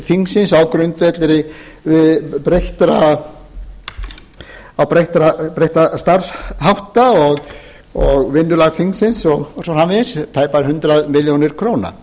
þingsins á grundvelli breyttra starfshátta og vinnulag þingsins og svo framvegis tæpar hundrað milljónir króna